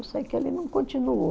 Eu sei que ele não continuou.